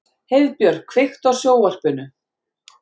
Heiðbjörk, kveiktu á sjónvarpinu.